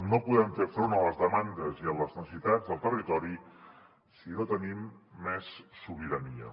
no podem fer front a les demandes i a les necessitats del territori si no tenim més sobirania